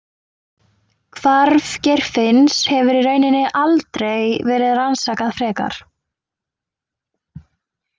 Hvarf Geirfinns hefur í rauninni aldrei verið rannsakað frekar.